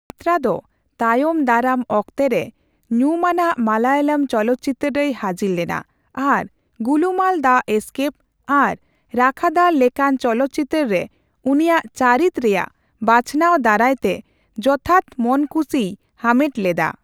ᱢᱤᱛᱨᱟ ᱫᱚ ᱛᱟᱭᱚᱢ ᱫᱟᱨᱟᱢ ᱚᱠᱛᱮ ᱨᱮ ᱧᱩᱢᱟᱱᱟᱜ ᱢᱟᱞᱟᱭᱟᱞᱟᱢ ᱪᱚᱞᱚᱛ ᱪᱤᱛᱟᱹᱨ ᱨᱮᱭ ᱦᱟᱹᱡᱤᱨ ᱞᱮᱱᱟ ᱟᱨ ᱜᱩᱞᱩᱢᱟᱞ ᱫᱟ ᱮᱥᱠᱮᱯ ᱟᱨ ᱨᱟᱠᱷᱟᱫᱟᱨ ᱞᱮᱠᱟᱱ ᱪᱚᱞᱚᱛ ᱪᱤᱛᱟᱹᱨ ᱨᱮ ᱩᱱᱤᱭᱟᱜ ᱪᱟᱹᱨᱤᱛ ᱨᱮᱭᱟᱜ ᱵᱟᱪᱷᱱᱟᱣ ᱫᱟᱨᱟᱭ ᱛᱮ ᱡᱚᱛᱷᱟᱛ ᱢᱚᱱᱠᱩᱥᱤᱭ ᱦᱟᱢᱮᱴ ᱞᱮᱫᱟ ᱾